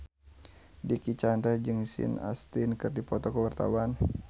Dicky Chandra jeung Sean Astin keur dipoto ku wartawan